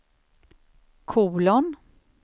kolon